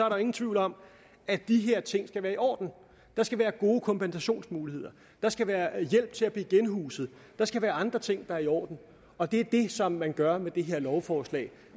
ingen tvivl om at de her ting skal være i orden der skal være gode kompensationsmuligheder der skal være hjælp til at blive genhuset der skal være andre ting der er i orden og det er det som man gør med det her lovforslag